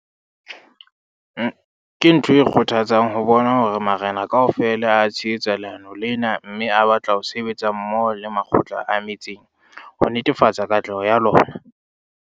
Ke ntho e kgothatsang ho bona hore marena kaofela a tshehetsa leano lena mme a batla ho sebetsa mmoho le makgotla a metsaneng ho netefatsa katleho ya lona.